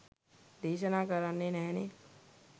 දේශනා කරන්නෙ නැහැනෙ.